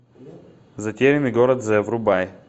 затерянный город з врубай